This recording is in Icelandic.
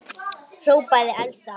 hrópaði Elsa.